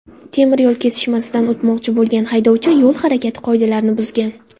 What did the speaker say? Temiryo‘l kesishmasidan o‘tmoqchi bo‘lgan haydovchi yo‘l harakati qoidalarini buzgan.